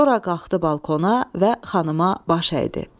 Sonra qalxdı balkona və xanıma baş əydi.